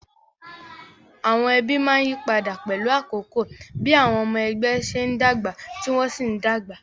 Àwọn ẹbí máa ń yí padà pẹ̀lú àkókò bí àwọn ọmọ ẹgbẹ́ ṣe ń dàgbà tí wọ́n sì ń dàgbà